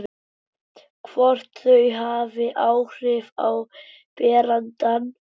Hvort þau hafi áhrif á berandann.